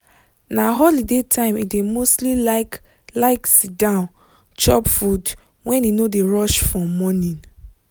na holiday time e dey mostly like like sit down chop food when e no dey rush for morning